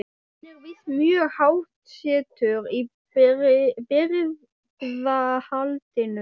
Hann er víst mjög háttsettur í birgðahaldinu.